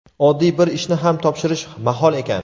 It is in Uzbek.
oddiy bir ishni ham topshirish mahol ekan.